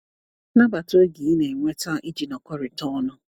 Nabata oge ị na-enweta iji nọkọrịta ọnụ.